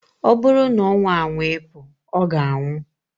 O buru na onwa anwa ipu, oga anwu.